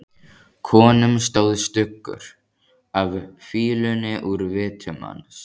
Konum stóð stuggur af fýlunni úr vitum hans.